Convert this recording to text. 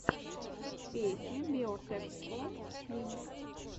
песня биотэкском клиник